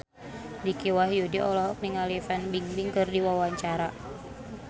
Dicky Wahyudi olohok ningali Fan Bingbing keur diwawancara